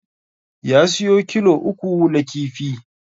Ya siyo kilo uku na kifi